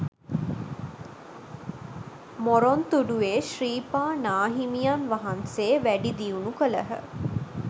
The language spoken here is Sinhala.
මොරොන්තුඩුවේ ශ්‍රීපා නාහිමියන් වහන්සේ වැඩි දියුණු කළහ.